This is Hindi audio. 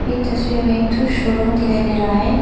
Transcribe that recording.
ये तस्वीर में एक ठो शोरूम दिखाई दे रहा है।